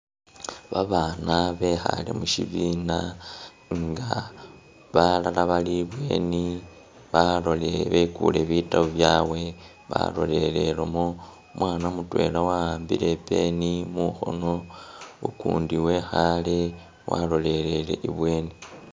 Babana bekhale mushibiina, nga balala bali ebweni balole- bekule bitabo byawe, balolelelemo umwana mutwela wa wambile i pen mukhono ukundi wekhale walolelele ibweni.